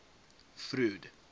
freud